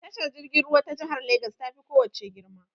Tashar jirgin ruwa ta jihar Legas ta fi ko wace girma.